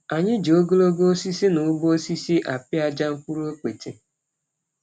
An yi ji ogologo osisi na ụgbọ osisi apịaja mkpụrụ okpete.